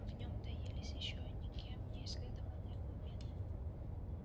в нём таились ещё никем не исследованные глубины